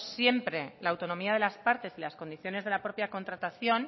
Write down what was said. siempre la autonomía de las partes y las condiciones de la propia contratación